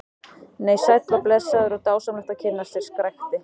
Nei, sæll og blessaður og dásamlegt að kynnast þér, skrækti